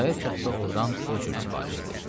Xudayar kənddə ordan o cür sifariş edib.